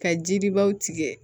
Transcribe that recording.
Ka jiribaw tigɛ